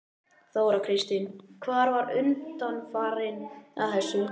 Þóra Kristín: Hver var undanfarinn að þessu?